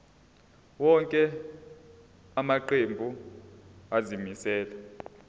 wonke amaqembu azimisela